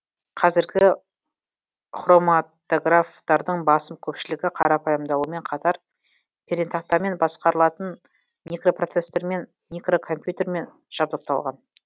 қазіргі хроматографтардың басым көпшілігі қарапайымдалумен қатар пернетақтамен басқарылатын микропроцессормен микрокомпьютермен жабдықталған